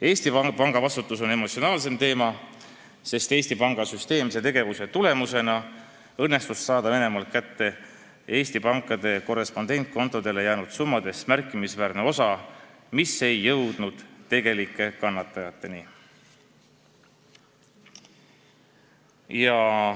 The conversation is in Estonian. Eesti Panga vastutus on emotsionaalsem teema, sest Eesti Panga süsteemse tegevuse tulemusena õnnestus Venemaalt kätte saada märkimisväärne osa Eesti pankade korrespondentkontodele jäänud summadest, mis aga ei jõudnud tegelike kannatajateni.